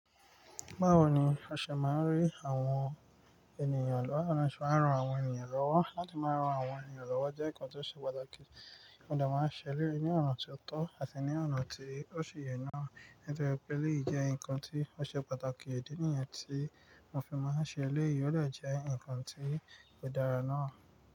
Báwo ni a ṣe máa ń rí àwọn ènìyàn lọ́wọ́, ṣe máa ń ran àwọn ènìyàn lọ́wọ́? Láti máa ran àwọn ènìyàn lọ́wọ́ jẹ́ nǹkan tó ṣe pàtàkì, mo de máa ń ṣe eleyi ní ọ̀nà tió tọ́ àti ní ọ̀nà tí ó ṣe yé náà. Nítorí pé léyìí jẹ́ nǹkan tió ṣe pàtàkì, idi nìyẹn tí mo fi máa ń ṣe eléyi, o de je ǹkan tí ó dára náà.